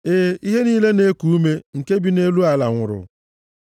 Ee, ihe niile na-eku ume nke bi nʼelu ala nwụrụ.